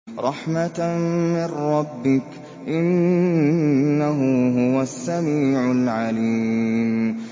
رَحْمَةً مِّن رَّبِّكَ ۚ إِنَّهُ هُوَ السَّمِيعُ الْعَلِيمُ